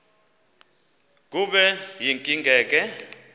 kube yinkinge ke